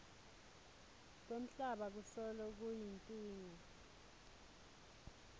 kwemhlaba kusolo kuyinkinga